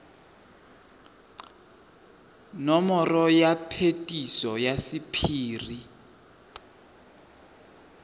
nomoro ya phetiso ya sephiri